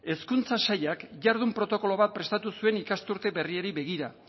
hezkuntza sailak jardun protokoloak prestatu zuen ikasturte berriari begira